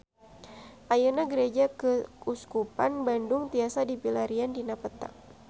Ayeuna Gereja Keuskupan Bandung tiasa dipilarian dina peta